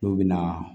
N'u bɛna